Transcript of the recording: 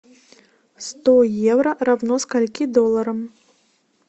сто евро равно скольки долларам